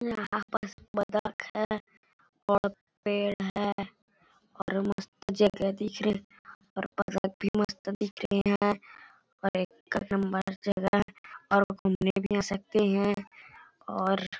यहाँ पास बत्तक है और पेड़ है और मस्त जगह दिख रही और बत्तख भी मस्त दिख रही है और एक है और घुमने भी आ सकते है और--